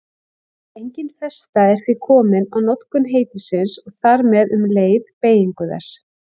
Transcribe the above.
Engin festa er því komin á notkun heitisins og þar með um leið beygingu þess.